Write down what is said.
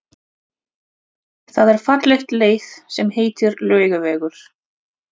Það er falleg leið sem heitir Laugavegur.